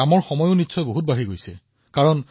আৰু এনে মহামাৰী পৰিস্থিতিত আপুনি সেইটোৱেই কৰি আছে